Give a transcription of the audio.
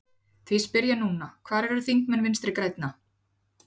Því spyr ég núna, hvar eru þingmenn Vinstri grænna?